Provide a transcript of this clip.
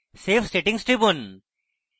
save settings টিপুন